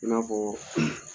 An y'a fɔ